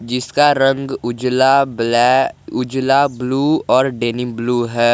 जिसका रंग उजला ब्लै उजला ब्लू और डेनिम ब्लू है।